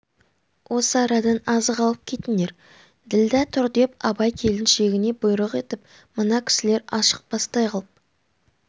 осы арадан азық алып кетіңдер ділдә тұр деп абай келіншегіне бұйрық етіп мына кісілер ашықпастай қып